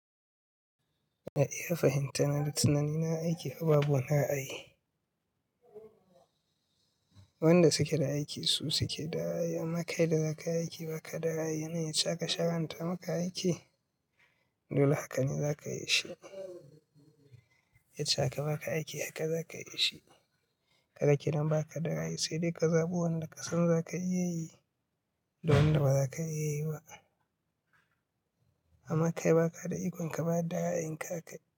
A iya fahimta na da tunani na aiki haba bu na yi. Wanda suke da aiki su suke da hyaa. Amaka ida za ka aiki ba ka da haya. Nawa ya cika sharan ta maka aiki? Dole haka ne za ka yi shi. Yacce aka ba ka aiki haka za ka yi shi. Kada kenan ba ka da right sai dai ka zaɓi wanda kasan za ka iya yi da wanda ba za ka iya yi ba. Amaka ba ka da ikon ka ba da ra'ayin kan ka.